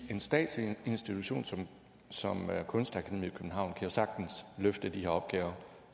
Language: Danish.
en statslig institution som kunstakademiet i københavn kan jo sagtens løfte de her opgaver